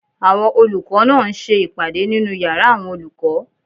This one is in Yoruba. Àwọn olùkọ́ náà ń ṣe ìpàdé nínu yàrá àwọn olùkọ́